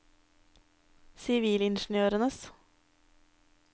sivilingeniørers